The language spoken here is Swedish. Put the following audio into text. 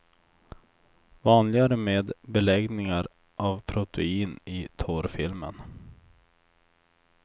Vanligare med beläggningar av protein i tårfilmen.